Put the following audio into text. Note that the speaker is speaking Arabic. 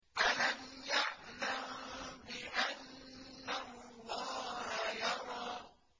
أَلَمْ يَعْلَم بِأَنَّ اللَّهَ يَرَىٰ